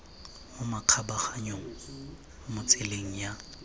mo makgabaganyong mo tseleng ya